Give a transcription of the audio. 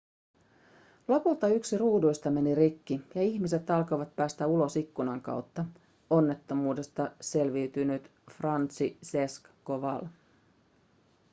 lopulta yksi ruuduista meni rikki ja ihmiset alkoivat päästä ulos ikkunan kautta onnettomuudesta selviytynyt franciszek kowal